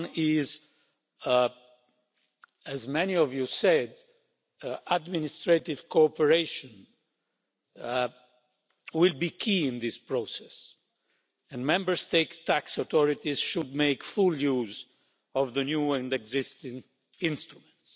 One is, as many of you have said, administrative cooperation will be key in this process and Member States' tax authorities should make full use of the new and existing instruments.